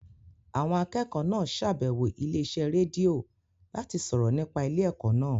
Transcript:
Àwọn akẹ́kọ̀ọ́ náà ṣàbẹ̀wọ̀ ilé iṣẹ́ rédíò láti sọ̀rọ̀ nípa ilé ẹ̀kọ́ náà